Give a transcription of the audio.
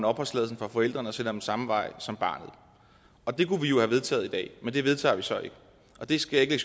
opholdstilladelsen for forældrene og sender dem samme vej som barnet og det kunne vi jo have vedtaget i dag men det vedtager vi så ikke og det skal jeg